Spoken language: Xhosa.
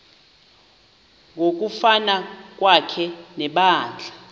ngokuvana kwakhe nebandla